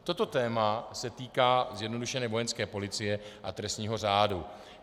Toto téma se týká zjednodušeně Vojenské policie a trestního řádu.